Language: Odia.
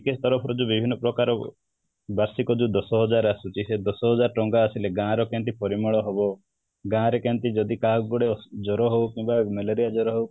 GKS ତରଫରୁ ବି ବିଭନ୍ନ ପ୍ରକାର ବାର୍ଷିକ ଯୋଉ ଦଶ ହଜାର ଆସୁଛି ସେଇ ଦଶ ହଜାର ଟଙ୍କା ଆସିଲେ ଗାଁ ର କେମିତି ପରିମଳ ହବ ଗାଁ ର କେମିତି ଯଦି କାହାର ଗୋଟେ ଜର ହଉ କିମ୍ବା ମ୍ୟାଲେରିଆ ଜର ହଉ